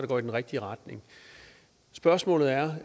går i den rigtige retning spørgsmålet er